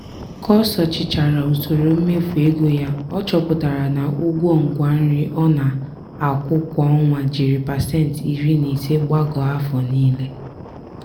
ka o sochichara usoro mmefu ego ya ọ chọpụtara na ụgwọ ngwa nri ọ na-akwụ kwa ọnwa jiri pasenti iri na ise gbagoo afọ niile.